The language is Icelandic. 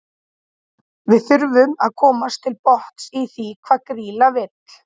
Við þurfum að komast til botns í því hvað Grýla vill.